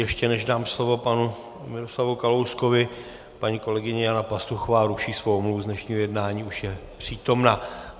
Ještě než dám slovo panu Miroslavu Kalouskovi, paní kolegyně Jana Pastuchová ruší svou omluvu z dnešního jednání, už je přítomna.